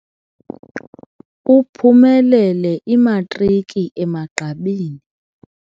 Uphumelele imatriki emagqabini.